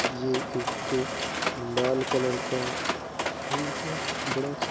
ये एक लाल कलर का फूल है बड़ा अच्छा --